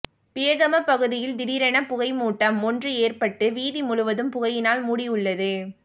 பியகம பகுதியில் திடீரென புகைமூட்டம் ஒன்று ஏற்பட்டு வீதி முழுவதும் புகையினால் மூடியுள்ளது